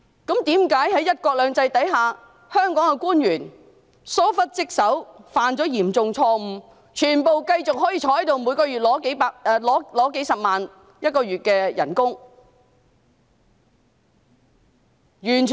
為何在"一國兩制"之下，香港的官員疏忽職守，犯下嚴重錯誤，卻全部可以繼續留任，每月領取數十萬元薪金？